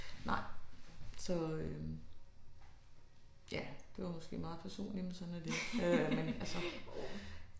Nej så øh ja det var måske meget personligt men sådan er det øh men altså